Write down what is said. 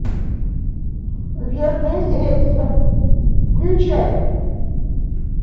верное средство включай